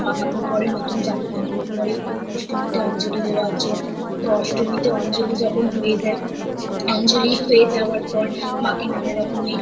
জামা কাপড় পড়ে নতুন জামা কাপড় পরে অষ্টমীতে অঞ্জলী দেয়ার জন্য , তো অষ্টমীতে অঞ্জলী যখন হয়ে যায় অঞ্জলী হয়ে যাওয়ার পর মা কে নানা রকমের